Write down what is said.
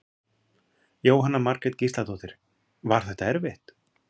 Jóhanna Margrét Gísladóttir: Var þetta erfitt?